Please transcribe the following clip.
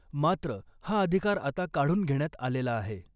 मात्र , हा अधिकार आता काढून घेण्यात आलेला आहे .